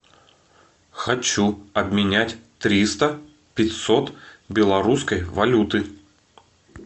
хочу обменять триста пятьсот белорусской валюты